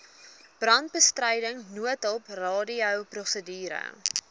brandbestryding noodhulp radioprosedure